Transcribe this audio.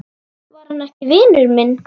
Var hann ekki vinur minn?